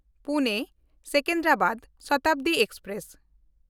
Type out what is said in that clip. ᱯᱩᱱᱮ-ᱥᱮᱠᱮᱱᱫᱨᱟᱵᱟᱫ Shatabdi express